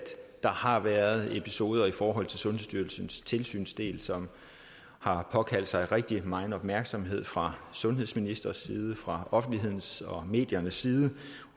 der har været episoder i forhold til sundhedsstyrelsens tilsynsdel som har påkaldt sig rigtig megen opmærksomhed fra sundhedsministerens side fra offentlighedens og mediernes side